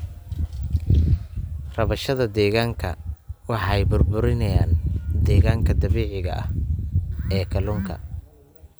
Rabshadaha deegaanka waxay burburiyaan deegaanka dabiiciga ah ee kalluunka.